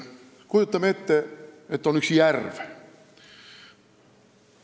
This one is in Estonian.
Kujutame ette, et on üks järv.